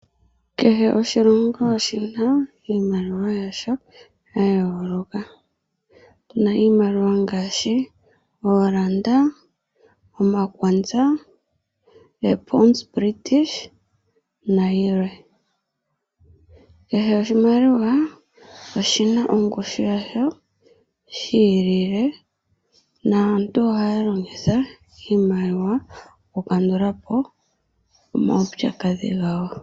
Kehe oshilongo oshina iimaliwa yasho ya yooloka. Otuna iimaliwa ngaashi oolanda, omakwanza, British pound nayilwe. Kehe oshimaliwa oshina ongushu yi ilile naantu ohaya longitha iimaliwa oku ka ndulapo omaupyakadhi gawo.